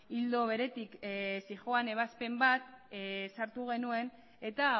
ildo beretik zihoan ebazpen bat sartu genuen eta